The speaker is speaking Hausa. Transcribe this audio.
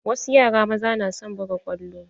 Wasu yara maza na son buga kwallo.